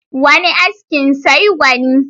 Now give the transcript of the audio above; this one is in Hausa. Wani askin sai gwani.